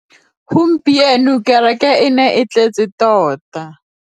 Gompieno kêrêkê e ne e tletse tota.